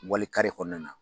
Wali kɔnɔna na